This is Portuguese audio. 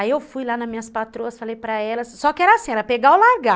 Aí eu fui lá nas minhas patroas, falei para elas, só que era assim, era pegar ou largar.